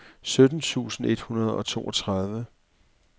sytten tusind et hundrede og toogtredive